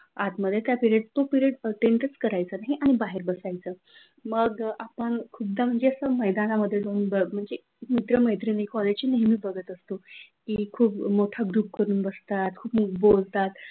आत मध्ये तो पिरेड अटेंडन्स करायचा नाही, आणि बाहेर बसायचं मग आपण खुद्द आस मैदाना मध्ये जाऊन म्हणजे मित्र मैत्रिणी कॉलेजची बगत असतो की खूप मोठा ग्रुप करून बसतात, खूप बोलतात,